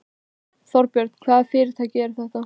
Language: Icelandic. Þorbjörn: Hvaða fyrirtæki eru þetta?